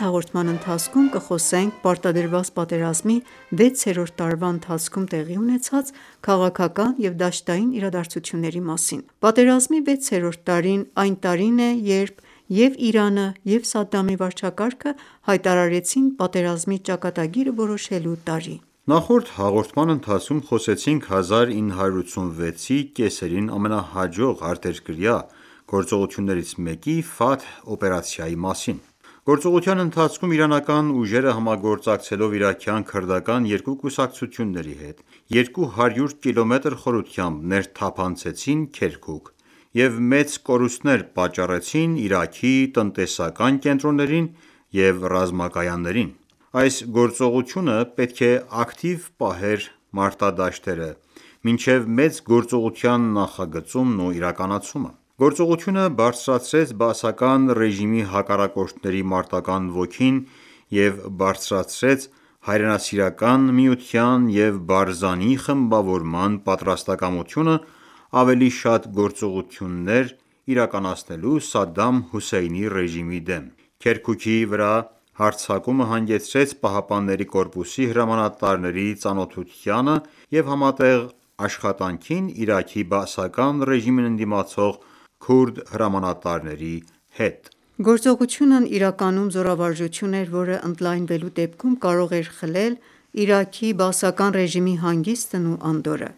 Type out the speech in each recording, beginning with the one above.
հաղորդման ընթացքում կխոսենք պարտադրված պատերազմի վեցերորդ տարվա ընթացքում տեղի ունեցած քաղաքական և դաշտային իրադարձությունների մասին: Պատերազմի վեցերորդ տարին այն տարին է երբ և՛ ԻԻՀ-ն, և՛ Սադամի վարչակարգը հայտարարեցին պատերազմի ճակատագիրը որոշելու տարի։ Նախորդ հաղորդման ընթացքում խոսեցինք 1986-ի կեսերին ամենահաջող արտերկրյա գործողություններից մեկի՝ «Ֆաթհ» օպերացիայի մասին: Գործողության ընթացքում իրանական ուժերը, համագործակցելով իրաքյան քրդական երկու կուսակցությունների հետ, 200 կմ խորությամբ ներթափանցեցին Քերքուք և մեծ կորուստներ պատճառեցին Իրաքի տնտեսական կենտրոններին և ռազմակայաններին: Այս գործողությունը պետք է ակտիվ պահեր մարտադաշտերը մինչև մեծ գործողության նախագծումն ու իրականացումը։ Գործողությունը բարձրացրեց բաասական ռեժիմի հակառակորդների մարտական ոգին և բարձրացրեց Հայրենասիրական միության և Բարզանի խմբավորման պատրաստակամությունը՝ ավելի շատ գործողություններ իրականացնելու Սադամ Հոսեյնի ռեժիմի դեմ: Քերքուկի վրա հարձակումը հանգեցրեց ԻՀՊԿ-ի հրամանատարների ծանոթությանը և համատեղ աշխատանքին Իրաքի Բաասական ռեժիմին ընդդիմացող քուրդ հրամանատարների հետ: Գործողությունն իրականում զորավարժություն էր, որը ընդլայնվելու դեպքում կարող էր խլել Իրաքի բաասական ռեժիմի հանգիստն ու անդորրը: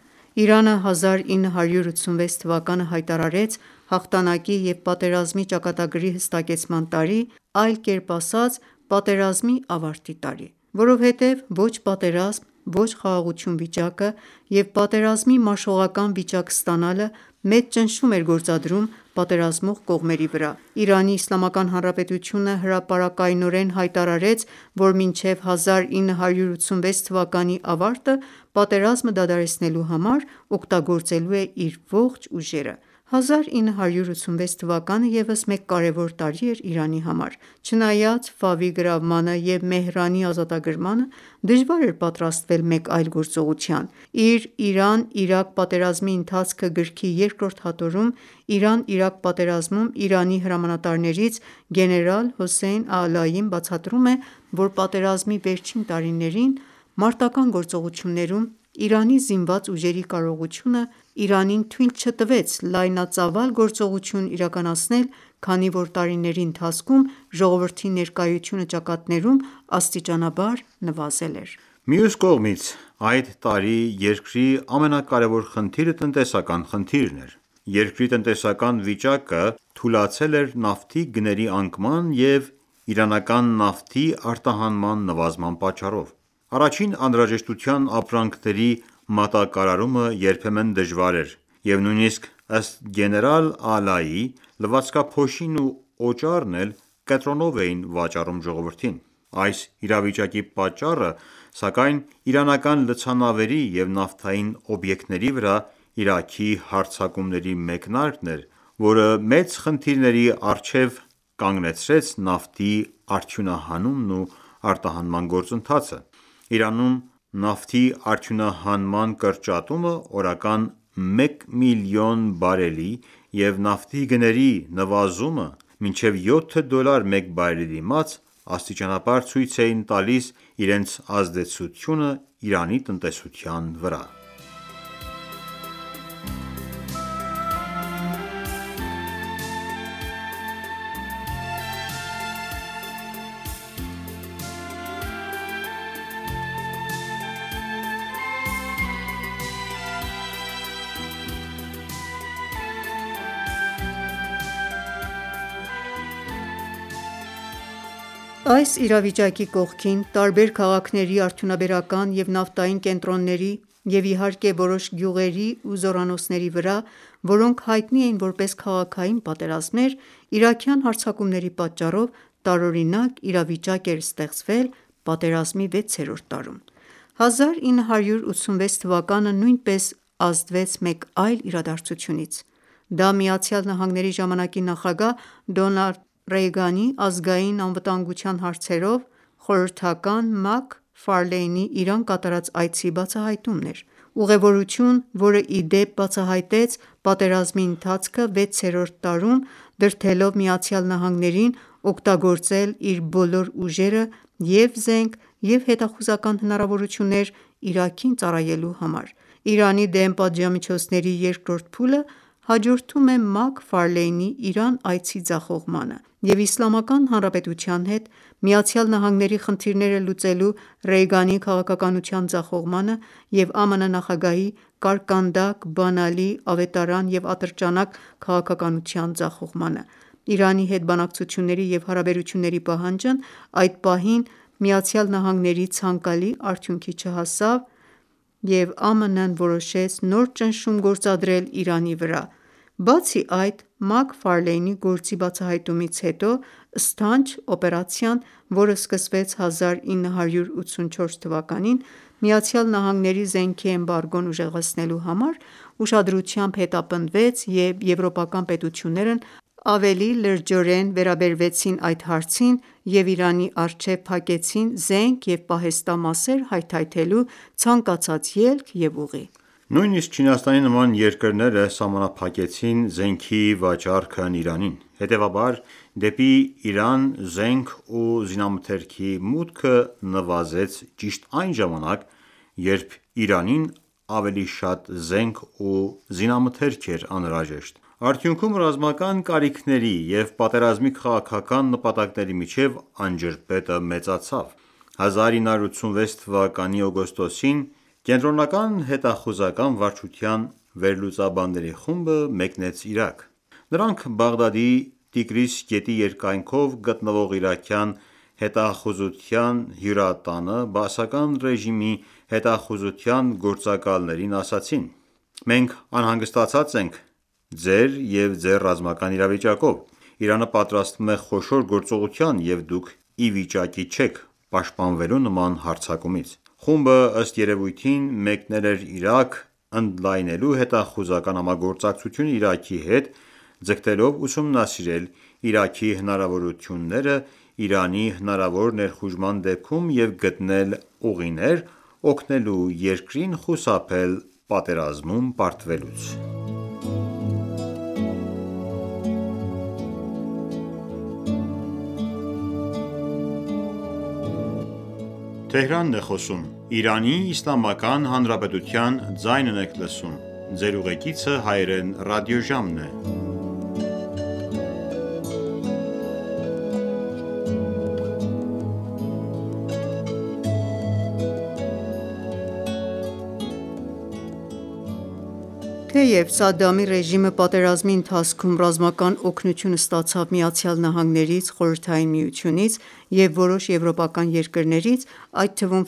Իրանը 1986 թվականը հայտարարեց հաղթանակի և «պատերազմի ճակատագրի հստակեցման» տարի, այլ կերպ ասած՝ պատերազմի ավարտի տարի։ Որովհետև «ոչ պատերազմ, ոչ խաղաղություն» վիճակը և «պատերազմի մաշողական վիճակ ստանալը» մեծ ճնշում էր գործադրում պատերազմող կողմերի վրա։ ԻԻՀ-ն հրապարակայնորեն հայտարարեց, որ մինչև 1986 թվականի ավարտը պատերազմը դադարեցնելու համար օգտագործելու է իր ողջ ուժերը: 1986 թվականը ևս մեկ կարևոր տարի էր Իրանի համար։ Չնայած գրավմանը և Մեհրանի ազատագրմանը, դժվար էր պատրաստվել մեկ այլ գործողության։ Իր «Իրան-Իրաք պատերազմի ընթացքը» գրքի երկրորդ հատորում Իրան-Իրաք պատերազմում ԻԻՀ-ի հրամանատարներից ՝ գեներալ Հոսեյն Ալային բացատրում է, որ պատերազմի վերջին տարիներին մարտական​​գործողություններում, ԻԻՀ զինված ուժերի կարողությունը Իրանին թույլ չտվեց լայնածավալ գործողություն իրականացնել, քանի որ տարիների ընթացքում ժողովրդի ներկայությունը ճակատներում աստիճանաբար նվազել էր։ Մյուս կողմից, այդ տարի երկրի ամենակարեւոր խնդիրը տնտեսական խնդիրն էր։ Երկրի տնտեսական վիճակը թուլացել էր նավթի գների անկման եւ իրանական նավթի արտահանման նվազման պատճառով։ Առաջին անհրաժեշտության ապրանքների մատակարարումը երբեմն դժվար էր, և նույնիսկ, ըստ գեներալ Ալայիի, լվացքափոշին ու օճառն էլ կտրոնով էին վաճառվում ժողովրդին: Այս իրավիճակի պատճառը, սակայն, իրանական լցանավերի և նավթային օբյեկտների վրա Իրաքի հարձակումների մեկնարկն էր, որը մեծ խնդիրների առջև կանգնեցրեց նավթի արդյունահանումն և արտահանման գործընթացը։ Իրանում նավթի արդյունահանման կրճատումը օրական մեկ միլիոն բարելի եւ նավթի գների նվազումը մինչեւ յոթ դոլար մեկ բարելի դիմաց աստիճանաբար ցույց էին տալիս իրենց ազդեցությունն Իրանի տնտեսության վրա։ Տանկերի պատերազմը Այս իրավիճակի կողքին, տարբեր քաղաքների արդյունաբերական և նավթային կենտրոնների և, իհարկե, որոշ գյուղերի ու զորանոցների վրա, որոնք հայտնի էին որպես քաղաքային պատերազմներ, իրաքյան հարձակումների պատճառով տարօրինակ իրավիճկ էր ստեղծվել պատերազմի վեցերորդ տարում։ 1986 թվականը նույնպես ազդվեց մեկ այլ իրադարձությունից. Դա Միացյալ Նահանգների ժամանակի նախագահ «Ռոնալդ Ռեյգանի» ազգային անվտանգության հարցերով խորհրդական Մաք Իրան կատարած այցի բացահայտումն էր: Ուղևորություն, որը, ի դեպ, բացահայտեց պատերազմի ընթացքը վեցերորդ տարում՝ դրդելով ԱՄՆ-ին օգտագործել իր բոլոր ուժերը՝ և՛ զենք, և՛ հետախուզական հնարավորություններ, Իրաքին ծառայելու համար: Իրանի դեմ պատժամիջոցների երկրորդ փուլը հաջորդում է Մաք Ֆարլեյնի Իրան այցի ձախողմանը և Իսլամական Հանրապետության հետ ԱՄՆ-ի խնդիրները լուծելու Ռեյգանի քաղաքականության ձախողմանը և ԱՄՆ նախագահի «կարկանդակ, բանալի, ավետարան և ատրճանակ» քաղաքականության ձախողմանը: Իրանի հետ բանակցությունների եւ հարաբերությունների պահանջն այդ պահին ԱՄՆ-ի ցանկալի արդյունքի չհասավ և ԱՄՆ-ն որոշեց նոր ճնշում գործադրել Իրանի վրա: Բացի այդ, Մաք Ֆարլեյնի գործի բացահայտումից հետո «Սթանչ» օպերացիան, որը սկսվեց 1984 թվականին՝ ԱՄՆ-ի զենքի էմբարգոն ուժեղացնելու համար, ուշադրությամբ հետապնդվեց, և եվրոպական պետություններն ավելի լրջորեն վերաբերվեցին այդ հարցին և Իրանի առջև փակեցին զենք և պահեստամասեր հայթայթելու ցանկացած ելք և ուղի: Նույնիսկ Չինաստանի նման երկրները սահմանափակեցին զենքի վաճառքն Իրանին։ Հետևաբար, դեպի Իրան զենք ու զինամթերքի մուտքը նվազեց ճիշտ այն ժամանակ, երբ Իրանին ավելի շատ զենք ու զինամթերք էր անհրաժեշտ: Արդյունքում ռազմական կարիքների և պատերազմի քաղաքական նպատակների միջև անջրպետը մեծացավ։ 1986 թվականի օգոստոսին ԿՀՎ վերլուծաբանների խումբը մեկնեց Իրաք։ Նրանք Բաղդադի Տիգրիս գետի երկայնքով գտնվող իրաքյան հետախուզության հյուրատանը Բաասական ռեժիմի հետախուզության գործակալներին ասացին.«Մենք անհանգստացած ենք ձեր և ձեր ռազմական իրավիճակով: Իրանը պատրաստվում է խոշոր գործողության, և դուք ի վիճակի չեք պաշտպանվելու նման հարձակումից»։ Խումբը, ըստ երևույթին, մեկնել էր Իրաք՝ ընդլայնելու հետախուզական համագործակցությունը Իրաքի հետ՝ ձգտելով ուսումնասիրել Իրաքի հնարավորությունները Իրանի հնարավոր ներխուժման դեպքում և գտնել ուղիներ՝ օգնելու երկրին խուսափել պատերազմում պարտվելուց: Մաք Ֆարլեյն Թեև Սադամի ռեժիմը պատերազմի ընթացքում ռազմական օգնություն ստացավ ԱՄՆ-ից, ԽՍՀՄ-ից և որոշ եվրոպական երկրներից, այդ թվում՝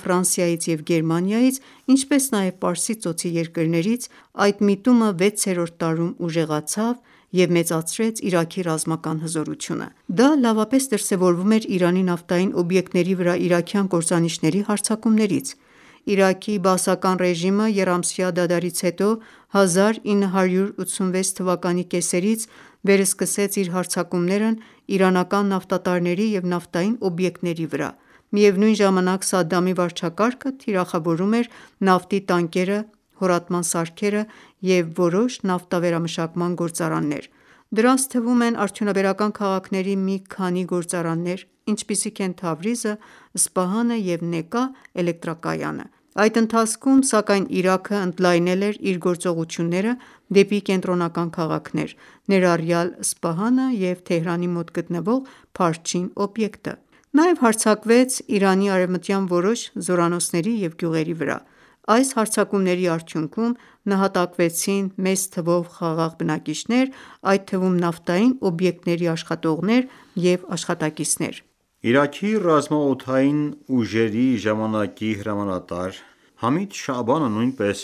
և Գերմանիայից, ինչպես նաև Պարսից Ծոցի երկրներից, այդ միտումը վեցերորդ տարում ուժեղացավ և մեծացրեց Իրաքի ռազմական հզորությունը: Դա լավապես դրսևորվում էր Իրանի նավթային օբյեկտների վրա իրաքյան կործանիչների հարձակումներից: Իրաքի Բաասական ռեժիմը եռամսյա դադարից հետո 1986 թվականի կեսերից վերսկսեց իր հարձակումները իրանական նավթատարների և նավթային օբյեկտների վրա: Միևնույն ժամանակ, Սադամի վարչակարգը թիրախավորում էր նավթի տանկերը, հորատման սարքերը և որոշ նավթավերամշակման գործարաններ: Դրանց թվում են արդյունաբերական քաղաքների մի քանի գործարաններ, ինչպիսիք են Թավրիզը, Սպահանը և Նեկա էլեկտրակայանը: Այդ ընթացքում, սակայն, Իրաքը ընդլայնել էր իր գործողությունները դեպի կենտրոնական քաղաքներ, ներառյալ Սպահանը և Թեհրանի մոտ գտնվող Փարչին օբյեկտը: Նաև հարձակվեց Իրանի արևմտյան որոշ զորանոցների և գյուղերի վրա: Այս հարձակումների արդյունքում նահատակվեցին մեծ թվով խաղաղ բնակիչներ, այդ թվում՝ նավթային օբյեկտների աշխատողներ և աշխատակիցներ։ Իրաքի ռազմաօդային ուժերի ժամանակի հրամանատար Համիդ Շաաբանը նույնպես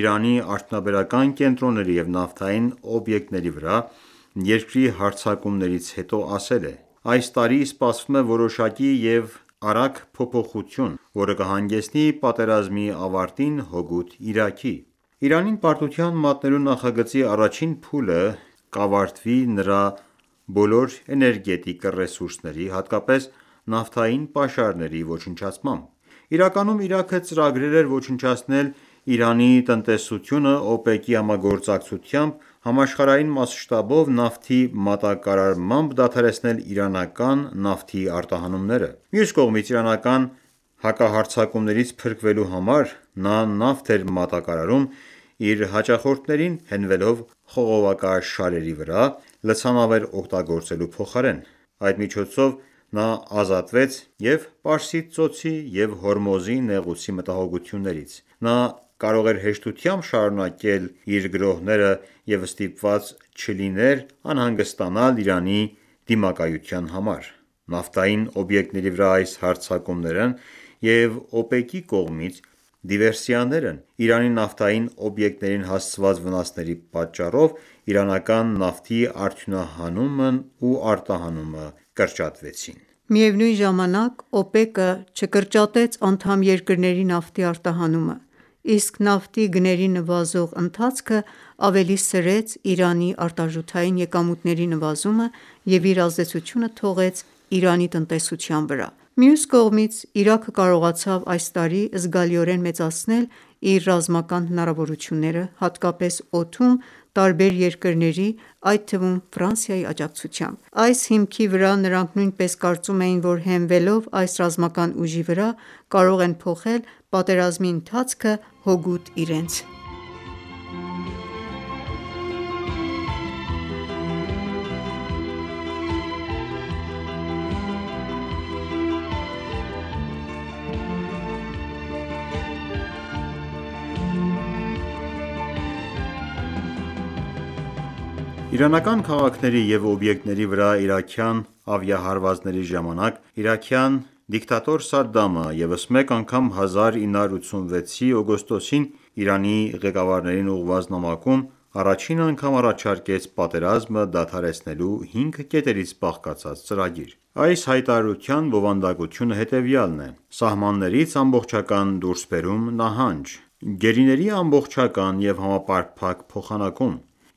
Իրանի արդյունաբերական կենտրոնների և նավթային օբյեկտների վրա երկրի հարձակումներից հետո ասել է.«Այս տարի սպասվում է որոշակի և արագ փոփոխություն, որը կհանգեցնի պատերազմի ավարտին հօգուտ Իրաքի: Իրանին պարտության մատնելու նախագծի առաջին փուլը կավարտվի նրա բոլոր էներգետիկ ռեսուրսների, հատկապես նավթային պաշարների ոչնչացմամբ»: Իրականում Իրաքը ծրագրել էր ոչնչացնել Իրանի տնտեսությունը՝ ՕՊԵԿ-ի համագործակցությամբ, համաշխարհային մաշտաբով նավթի մատակարարմամբ դադարեցնել իրանական նավթի արտահանումները։ Մյուս կողմից, իրանական հակահարձակումներից փրկվելու համար նա նավթ էր մատակարարում իր հաճախորդներին՝ հենվելով խողովակաշարերի վրա՝ լցանավեր օգտագործելու փոխարեն։ Այդ միջոցով նա ազատվեց և՛ Պարսից ծոցի, և՛ Հորմուզի նեղուցի մտահոգություններից։ Նա կարող էր հեշտությամբ շարունակել իր գրոհները և ստիպված չլիներ անհանգստանալ Իրանի դիմակայության համար: Նավթային օբյեկտների վրա այս հարձակումներն և ՕՊԵԿ-ի կողմից դիվերսիաներն Իրանի նավթային օբյեկտներին հասցված վնասների պատճառով իրանական նավթի արդյունահանումն ու արտահանումը կրճատվեցին։ Միևնույն ժամանակ, ՕՊԵԿ-ը չկրճատեց անդամ երկրների նավթի արտահանումը, իսկ նավթի գների նվազող ընթացքը ավելի սրեց Իրանի արտարժութային եկամուտների նվազումը և իր ազդեցությունը թողեց Իրանի տնտեսության վրա: Մյուս կողմից, Իրաքը կարողացավ այս տարի զգալիորեն մեծացնել իր ռազմական հնարավորությունները, հատկապես օդում, տարբեր երկրների, այդ թվում՝ աջակցությամբ։ Այս հիմքի վրա նրանք նույնպես կարծում էին, որ հենվելով այս ռազմական ուժի վրա՝ կարող են փոխել պատերազմի ընթացքը հօգուտ իրենց։ Հարձակում Իրանի նավթային օբյեկտների վրա Իրանական քաղաքների և օբյեկտների վրա իրաքյան ավիահարվածների ժամանակ իրաքյան դիկտատոր Սադդամը ևս մեկ անգամ 1986թ. օգոստոսին Իրանի ղեկավարներին ուղղված նամակում առաջին անգամ առաջարկեց պատերազմը դադարեցնելու հինգ կետից բաղկացած ծրագիր: Այս հայտարարության բովանդակությունը հետևյալն է՝ «Սահմաններից ամբողջական դուրսբերում, նահանջ», «Գերիների ամբողջական և համապարփակ փոխանակում»,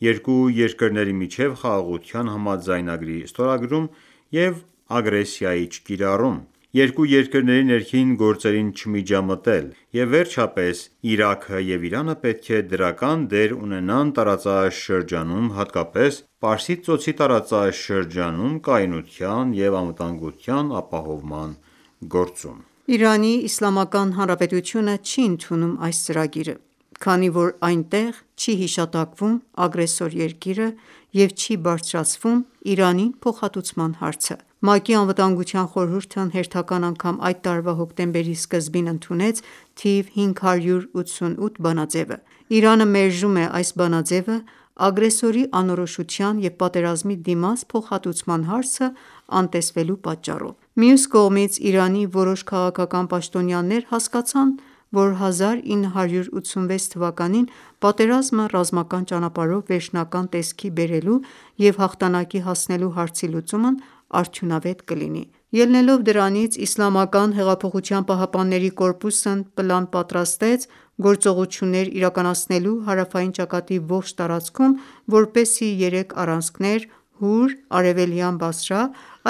«Երկու երկրների միջև խաղաղության համաձայնագրի ստորագրում և ագրեսիայի չկիրառում», «Երկու երկրների ներքին գործերին չմիջամտելը» և վերջապես «Իրաքը և Իրանը պետք է դրական դեր ունենան տարածաշրջանում, հատկապես Պարսից Ծոցի տարածաշրջանում կայունության և անվտանգության ապահովման գործում»։ ԻԻՀ-ն չի ընդունում այս ծրագիրը, քանի որ այնտեղ չի հիշատակվում ագրեսոր երկիրը և չի բարձրացվում Իրանին փոխհատուցման հարցը։ ՄԱԿ-ի ԱԽ-ն հերթական անգամ այդ տարվա հոկտեմբերի սկզբին ընդունեց թիվ 588 բանաձեւը։ Իրանը մերժում է այս բանաձեւը՝ ագրեսորի անորոշության և պատերազմի դիմաց փոխհատուցման հարցը անտեսելու պատճառով։ Մյուս կողմից, Իրանի որոշ քաղաքական պաշտոնյաներ հասկացան, որ 1986-ին պատերազմը ռազմական ճանապարհով վերջնական տեսքի բերելու և հաղթանակի հասնելու հարցի լուծումն արդյունավետ կլինի։ Ելնելով դրանից՝ ԻՀՊԿ-ն պլան պատրաստեց գործողություններ իրականացնելու հարավային ճակատի ողջ տարածքում, որպեսզի երեք առանցքներ՝ «Հուր», «Արևելյան Բասրա»,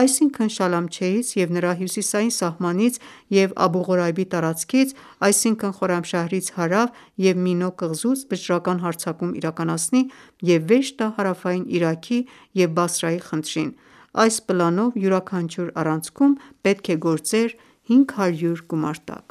այսինքն՝ Շալամչեից և նրա հյուսիսային սահմանից և «Աբու Ղորայբի տարածքից» այսինքն Խորամշահրից հարավ և Մինո կղզուց վճռական հարձակում իրականացնի, և վերջ տա հարավային Իրաքի և Բասրայի խնդրին: Այս պլանով յուրաքանչյուր առանցքում պետք է գործեր 500 գումարտակ։